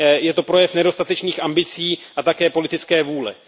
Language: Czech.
Je to projev nedostatečných ambicí a také politické vůle.